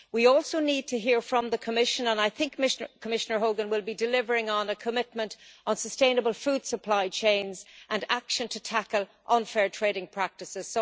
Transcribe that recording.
We also need to hear from the Commission, and I think Commissioner Hogan will be delivering on the commitment on sustainable food supply chains, and on action to tackle unfair trading practices.